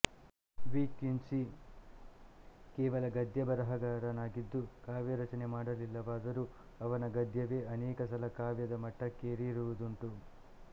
D Quincey ಕೇವಲ ಗದ್ಯ ಬರೆಹಗಾರನಾಗಿದ್ದು ಕಾವ್ಯರಚನೆ ಮಾಡಲಿಲ್ಲವಾದರೂ ಅವನ ಗದ್ಯವೇ ಅನೇಕ ಸಲ ಕಾವ್ಯದ ಮಟ್ಟಕ್ಕೇರಿರುವುದುಂಟು